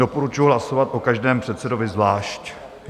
Doporučuji hlasovat o každém předsedovi zvlášť.